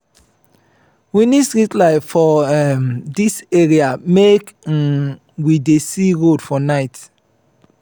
we need street light for um dis area make um we dey see road for night.